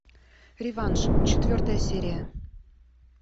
реванш четвертая серия